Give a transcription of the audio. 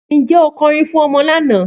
Níjẹ́ o kòrín fún ọmọ lánà?